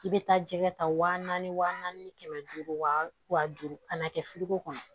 I bɛ taa jɛgɛ ta wa naani wa naani ni kɛmɛ duuru wa duuru kana kɛ kɔnɔ